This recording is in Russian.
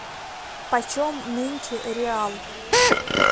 почем нынче реал